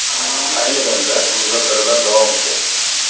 Ayni vaqtda muzokaralar davom etyapti.